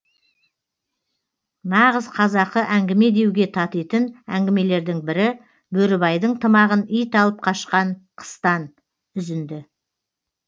нағыз қазақы әңгіме деуге татитын әңгімелердің бірі бөрібайдың тымағын ит алып қашқан қыстан үзінді